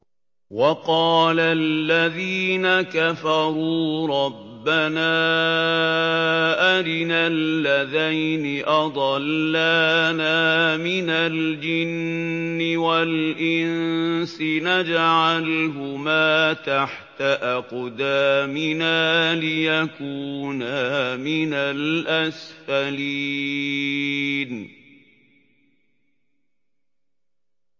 وَقَالَ الَّذِينَ كَفَرُوا رَبَّنَا أَرِنَا اللَّذَيْنِ أَضَلَّانَا مِنَ الْجِنِّ وَالْإِنسِ نَجْعَلْهُمَا تَحْتَ أَقْدَامِنَا لِيَكُونَا مِنَ الْأَسْفَلِينَ